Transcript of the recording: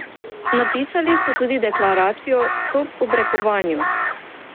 Napisali so tudi deklaracijo Stop obrekovanju.